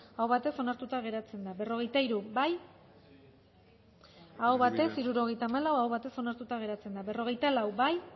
aho batez onartuta geratzen da berrogeita hiru bozkatu dezakegu bozketaren emaitza onako izan da hirurogeita hamalau eman dugu bozka hirurogeita hamalau boto aldekoa aho batez onartuta geratzen da berrogeita lau bozkatu